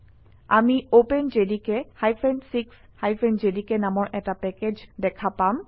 আমি openjdk 6 JDK নামৰ এটা পেকেজ দেখা পাম